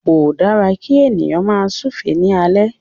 Ko da ki ènìyàn máa súúfe ni alẹ.